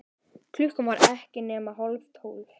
Klukkan var ekki nema hálftólf.